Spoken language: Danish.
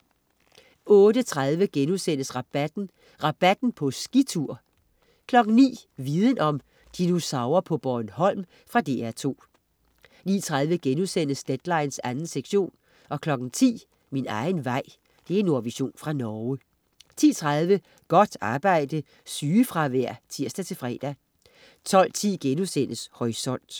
08.30 Rabatten.* "Rabatten" på skitur! 09.00 Viden om: Dinosaurer på Bornholm. Fra DR2 09.30 Deadline 2. sektion* 10.00 Min egen vej. Nordvision fra Norge 10.30 Godt arbejde. Sygefravær (tirs-fre) 12.10 Horisont*